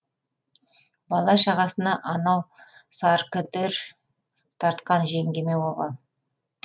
бала шағасына анау саркідір тартқан жеңгеме обал